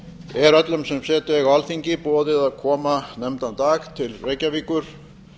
er öllum sem setu eiga á alþingi boðið að koma nefndan dag til reykjavíkur